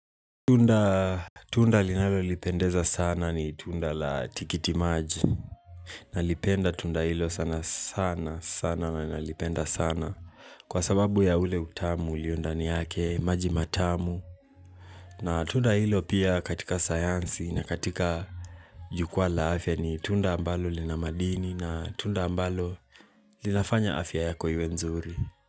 Tunda linalonipendeza sana ni tunda la tikitimaji nalipenda tunda hilo sana sana sana na nalipenda sana Kwa sababu ya ule utamu ulio ndani yake maji matamu na tunda hilo pia katika sayansi na katika jukwaa la afya ni tunda ambalo lina madini na tunda ambalo linafanya afya yako iwe nzuri.